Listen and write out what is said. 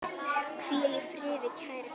Hvíl í friði, kæri Gunnar.